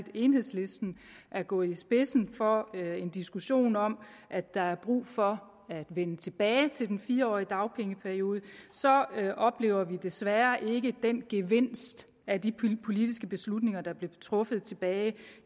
enhedslisten er gået i spidsen for en diskussion om at der er brug for at vende tilbage til den fire årige dagpengeperiode oplever vi desværre ikke den gevinst af de politiske beslutninger der blev truffet tilbage